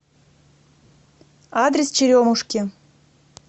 адрес черемушки